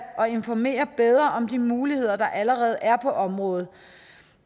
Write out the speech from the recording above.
og informere bedre om de muligheder der allerede er på området